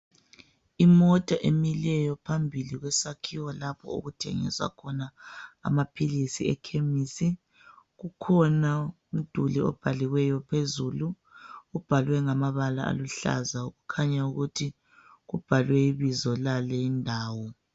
Imota emileyo phambili kwesakhiwo lapho okuthengiswa khona amaphilisi ekilinikhi. Kukhona umduli obhaliweyo phezulu ubhalwe ngamabala aluhlaza kukhanya ukuthi kubhalwe ibizo lale indawo